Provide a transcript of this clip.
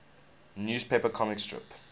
newspaper comic strip